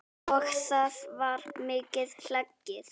Og þá var mikið hlegið.